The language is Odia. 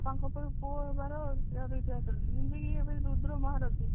ଆଉ ତାଙ୍କ ପରେ ପୁଅ ରୁଦ୍ର ମହାରଥୀ